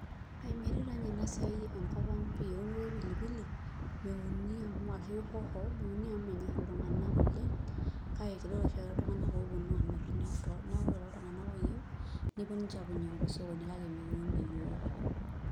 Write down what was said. Metii taa nye enasiai enkop aang pii enoto e pilipili meuni amu menyor ltunganak anaa hoho oleng kake kidolbake ltunganak oponu amir neaku ore toltunganak oyieu nepuo ainyangu tosokoni kak mikiun yiok.